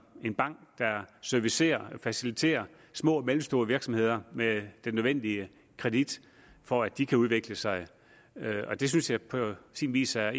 en bank der servicerer og faciliterer små og mellemstore virksomheder med den nødvendige kredit for at de kan udvikle sig det synes jeg på sin vis er